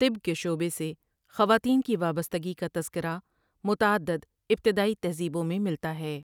طب کے شعبے سے خواتین کی وابستگی کا تذکرہ متعدد ابتدائی تہذیبوں میں ملتا ہے ۔